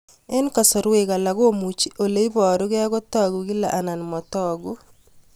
Eng' kasarwek alak komuchi ole parukei kotag'u kila anan matag'u